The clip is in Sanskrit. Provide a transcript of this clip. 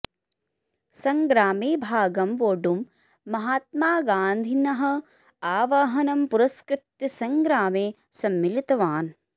सङ्ग्रामे भागं वोडुं महात्मागान्धिनः अह्वानं पुरस्कृत्य सङ्ग्रामे सम्मिलितवान्